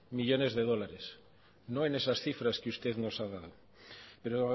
millónes de dólares no en esas cifras que usted nos ha dado pero